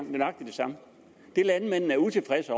nøjagtig det samme det landmændene er utilfredse